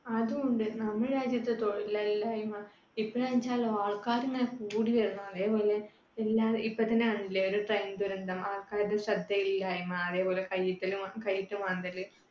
അതുമുണ്ട് നമ്മുടെ രാജ്യത്ത് തൊഴിലില്ലായ്‌മ. ഇപ്പഴാണെച്ചാലോ ആൾക്കാര് ഇങ്ങനെ കൂടി വരികയാണ്. അതേപോലെ ഇപ്പൊ തന്നെ കണ്ടില്ലേ ഒരു train ദുരന്തം. ആൾക്കാരുടെ ശ്രദ്ധയില്ലായ്‌മ. അതേപോലെ കയ്യിട്ടല് കയ്യിട്ടു മാന്തൽ